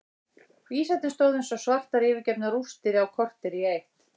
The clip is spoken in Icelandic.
Vísarnir stóðu eins og svartar yfirgefnar rústir á kortér í eitt.